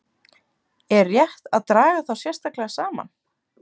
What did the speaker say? Er rétt að draga þá sérstaklega saman.